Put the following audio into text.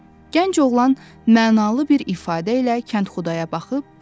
Gənc oğlan mənalı bir ifadə ilə kəndxudaya baxıb dedi: